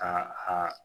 A a